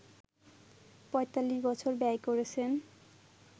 ৪৫ বছর ব্যয় করেছেন